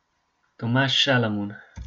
Tomaž Šalamun.